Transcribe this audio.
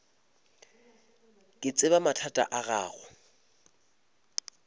ke tseba mathata a gago